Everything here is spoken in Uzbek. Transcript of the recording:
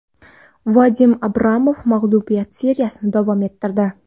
Vadim Abramov mag‘lubiyatli seriyasini davom ettirdi.